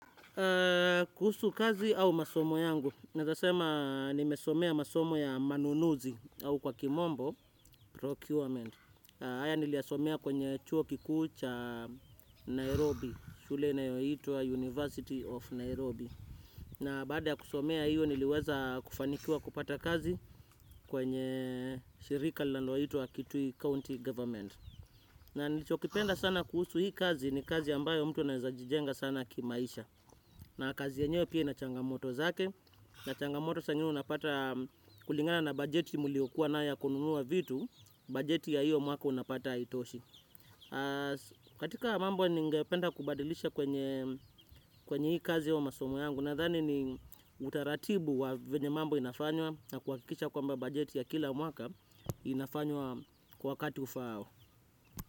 Kuhusu kazi au masomo yangu naeza sema nimesomea masomo ya manunuzi uu kwa kimombo, procurement. Haya niliasomea kwenye chuo kikuu cha Nairobi. Shule inayoitwa University of Nairobi. Na baada ya kusomea hiyo niliweza kufanikiwa kupata kazi. Kwenye shirika linalo itwa kitui county government. Na nilichokipenda sana kuhusu hii kazi ni kazi ambayo mtu na anaezajijenga sana kimaisha. Na kazi ya nyewe pia na changamoto zake, na changamoto saa ingine unapata kulingana na bajeti mliokuwa nayo ya kununua vitu, bajeti ya hiyo mwaka unapata haitoshi. Katika mambo ni ngependa kubadilisha kwenye kwenye hii kazi au masomo yangu na dhani ni utaratibu wa venye mambo inafanywa na kuwakikisha kwamba bajeti ya kila mwaka inafanywa kwa wakati ufaao.